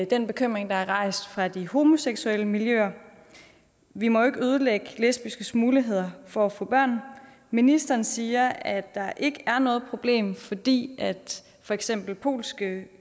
den bekymring der er rejst fra de homoseksuelle miljøer vi må jo ikke ødelægge lesbiskes muligheder for at få børn ministeren siger at der ikke er noget problem fordi for eksempel polske